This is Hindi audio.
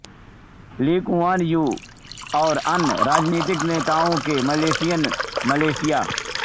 ली कुआन यू और अन्य राजनीतिक नेताओं ने मलेशियन मलेशिया